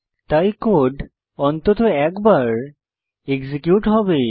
তাই কোড অন্তত একবার এক্সিকিউট হবে